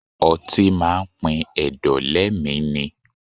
Ọtí máa pin ẹ̀dọ̀ lé mi ni.